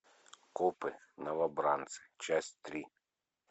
копы новобранцы часть три